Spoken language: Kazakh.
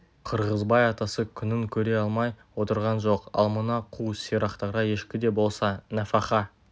қырғызбай атасы күнін көре алмай отырған жоқ ал мына қу сирақтарға ешкі де болса нәфаха